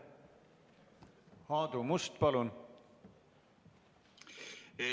Aadu Must, palun!